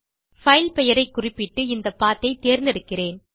file பெயரை குறிப்பிட்டு இந்த பத் ஐ தேர்ந்தெடுக்கிறேன்